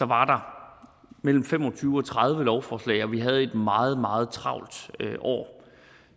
var mellem fem og tyve og tredive lovforslag og vi havde et meget meget travlt år